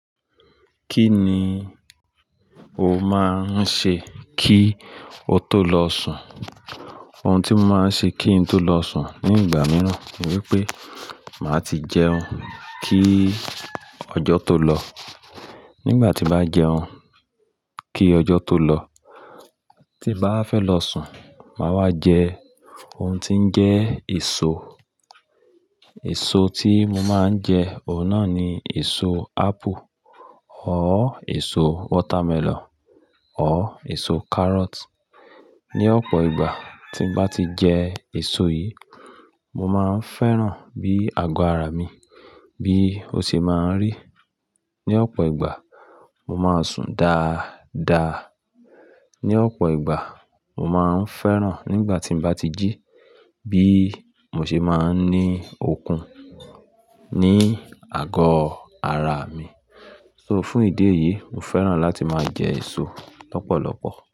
Kí ni o máa ń ṣe kí o tó lọ sùn? Ohun tí mo máa ń ṣe kí n tó lọ sùn ní ìgbà mìíràn ni wípé màá ti jẹun kí ọjọ́ tó lọ. Nígbà tí bá jẹun kí ọjọ́ tó lọ, tí bá fẹ́ lọ sùn, màá wá jẹ ohun tí ń jẹ́ èso. Èso tí mo máa ń jẹ, ọ̀nà ni èso apple, ọ́ èso watermelon, ọ́ èso carrot. Ni ọ̀pọ̀ ìgbà tí mo bá ti jẹ èso yìí, mo máa ń fẹ́ràn bí àgọ́ ara mi bí ó ṣe máa ń rì. Ni ọ̀pọ̀ ìgbà, mo máa ń sùn dáadáa. Ni ọ̀pọ̀ ìgbà, mo máa ń fẹ́ràn nígbà tí mo bá ti jí bí mo ṣe máa ń ní okun ní àgọ́ ara mi. So, fún ìdí èyí, mo fẹ́ràn láti máa jẹ èso lọ́pọ̀lọpọ̀.